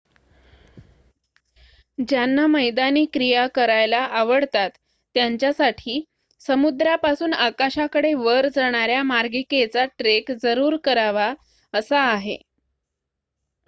ज्यांना मैदानी क्रिया करायला आवडतात त्यांच्यासाठी समुद्रापासून आकाशाकडे वर जाणाऱ्या मार्गिकेचा ट्रेक जरूर करावा असा आहे